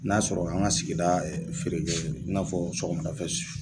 N'a sɔrɔ an ka sigida feere kɛ i n'afɔ sɔgɔmada fɛla.